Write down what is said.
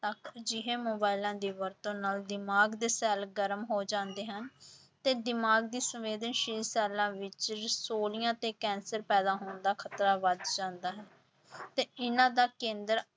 ਤੱਕ ਅਜਿਹੇ ਮੋਬਾਇਲਾਂ ਦੀ ਵਰਤੋਂ ਨਾਲ ਦਿਮਾਗ ਦੇ ਸ਼ੈਲ ਗਰਮ ਹੋ ਜਾਂਦੇ ਹਨ ਤੇ ਦਿਮਾਗੀ ਸੰਵੇਦਨਸ਼ੀਲ ਸ਼ੈਲਾਂ ਵਿੱਚ ਤੇ ਕੈਂਸਰ ਪੈਦਾ ਹੋਣ ਦਾ ਖ਼ਤਰਾ ਵੱਧ ਜਾਂਦਾ ਹੈ ਤੇ ਇਹਨਾਂ ਦਾ ਕੇਂਦਰ